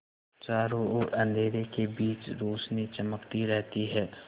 चारों ओर अंधेरे के बीच रौशनी चमकती रहती है